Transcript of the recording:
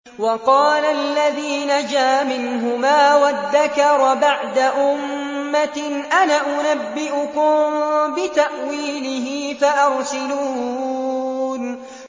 وَقَالَ الَّذِي نَجَا مِنْهُمَا وَادَّكَرَ بَعْدَ أُمَّةٍ أَنَا أُنَبِّئُكُم بِتَأْوِيلِهِ فَأَرْسِلُونِ